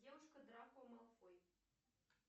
девушка драко малфой